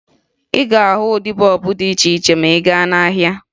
Ị ga-ahụ ụdị bọọbụ dị iche iche ma ị gaa n'ahịa